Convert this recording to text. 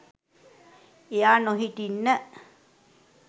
එයා නොහිටින්න